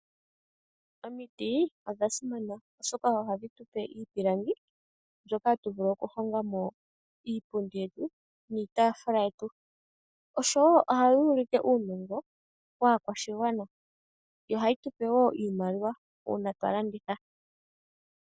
Omiti odha simana, oshoka ohadhi tu pe iipilangi, moka hatu vulu okuhonga mo iipundi niitaafula yetu. Oshowo ohayi ulike uunongo waakwashigwana, ohayi tu pe wo iimaliwa uuna twa landitha.